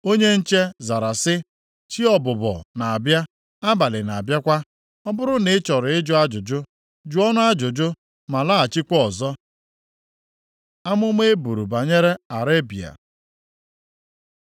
Onye nche zara sị, “Chi ọbụbọ na-abịa, abalị na-abịakwa. Ọ bụrụ na ị chọrọ ịjụ ajụjụ, jụọnụ ajụjụ, ma laghachikwa ọzọ.” Amụma e buru banyere Arebịa